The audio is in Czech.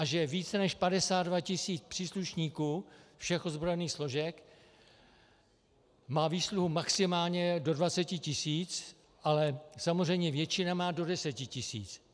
A že více než 52 tisíc příslušníků všech ozbrojených složek má výsluhu maximálně do 20 tisíc, ale samozřejmě většina má do 10 tisíc?